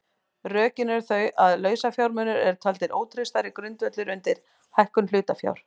Rökin eru þau að lausafjármunir eru taldir ótraustari grundvöllur undir hækkun hlutafjár.